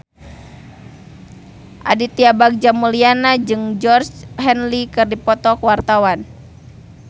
Aditya Bagja Mulyana jeung Georgie Henley keur dipoto ku wartawan